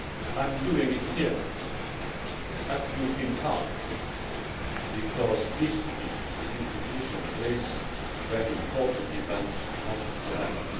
I am doing it here at the European Parliament because this is the institutional place where important events have to happen.